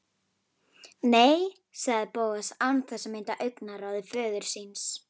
Nei- sagði Bóas án þess að mæta augnaráði föður síns.